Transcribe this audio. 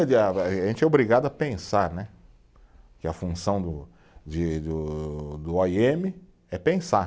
A gente é obrigado a pensar né, que a função do de do, do ó i eme é pensar.